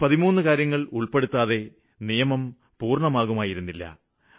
13 കാര്യങ്ങളും നടപ്പില് വരുത്തുന്നതിനു മുമ്പു നിയമം പൂര്ണമായിരുന്നില്ല